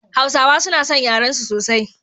Hausawa suna san yarensu sosai.